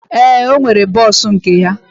Ee, ọ nwere bọs nke ya.